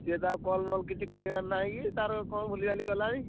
ସେ ତ ଆଉ call ମଲ କିଛି କରିବାର ନାହି କି ତାର କଣ ଭୁଲିଭାଲି ଗଲାଣି।